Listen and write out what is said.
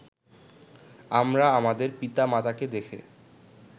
আমরা আমাদের পিতা- মাতাকে দেখে